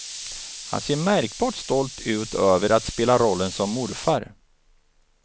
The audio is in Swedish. Han ser märkbart stolt ut över att spela rollen som morfar.